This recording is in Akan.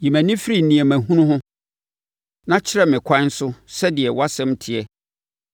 Yi mʼani firi nneɛma hunu so; na kyɛe me nkwa so sɛdeɛ wʼasɛm teɛ.